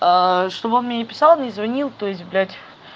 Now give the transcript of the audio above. чтобы он мне не писал не звонил то есть блять